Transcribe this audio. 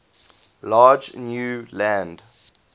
large new land